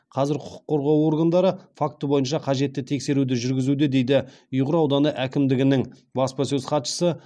қазір құқық қорғау органдары факті бойынша қажетті тексеруді жүргізуде дейді ұйғыр ауданы әкімдігінің баспасөз хатшысы